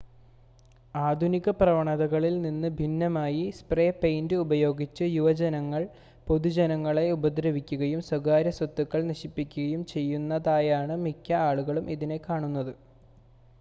ആധുനിക പ്രവണതകളിൽ നിന്ന് ഭിന്നമായി സ്പ്രേ പെയിൻ്റ് ഉപയോഗിച്ച് യുവജനങ്ങൾ പൊതുജനങ്ങളെ ഉപദ്രവിക്കുകയും സ്വകാര്യസ്വത്തുക്കൾ നശിപ്പിക്കുകയും ചെയ്യുന്നതായാണ് മിക്ക ആളുകളും ഇതിനെ കാണുന്നത്